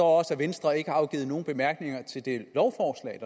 også at venstre ikke har afgivet nogen bemærkninger til det lovforslag